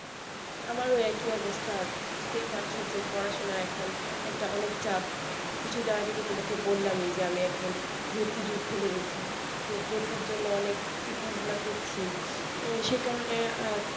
আমারও ওই একই অবস্থা বুজতেই পারছো যে পড়াশোনার এখন একটা অনেক চাপ কিছু দিন আগেই তো তোমাকে বললামই যে আমি এখন ভর্তিযুদ্ধে লেগেছি তো ভর্তির জন্য অনেক চিন্তা ভাবনা করছি উম সে কারণে